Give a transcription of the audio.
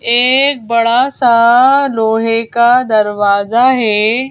एक बड़ा सा लोहे का दरवाजा है।